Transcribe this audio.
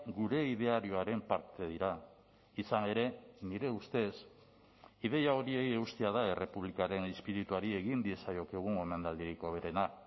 gure idearioaren parte dira izan ere nire ustez ideia horiei eustea da errepublikaren izpirituari egin diezaiokegun omenaldirik hoberena